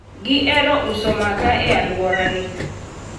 gihero uso makaa e alwora ni